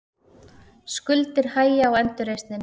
Skuldir hægja á endurreisninni